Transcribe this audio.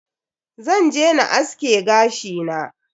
Zan je na aske gashi na.